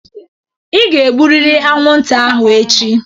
Ị ga-egburịrị anwụnta ahụ echi!